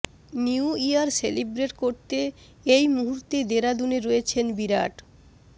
new year celebrate করতে এই মুহূর্তে দেরাদুনে রয়েছেন বিরাট